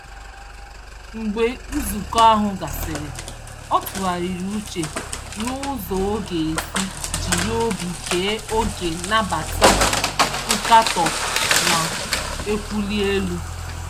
Mgbe nzukọ ahụ gasịrị, ọ tụgharịrị uche nụzọ ọ g'esi jiri obi ghe oghe nabata nkatọ na-ewuli elu.